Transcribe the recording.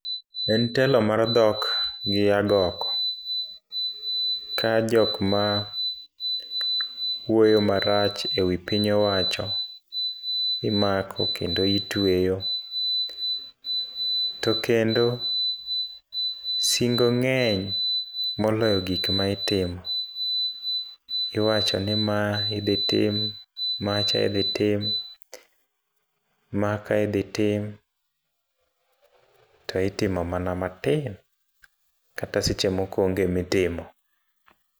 En telo mar dhok gi agoko, ka jok ma wuoyo marach ewi piny owacho imako kendo itweyo. To kendo, singo ng'eny moloyo gik ma itimo. Iwacho ni ma iodhi tim, macha idhi tim, maka idhi tim, to itimo mana matin. Kata seche moko onge mitimo.